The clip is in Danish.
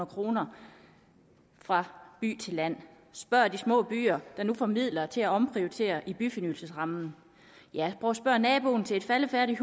kroner fra by til land spørg de små byer der nu får flere midler til at omprioritere gennem byfornyelsesrammen spørg naboen til et faldefærdigt